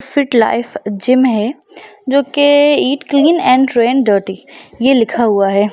Fit life gym है जो के eat clean and train dirty ये लिखा हुआ है।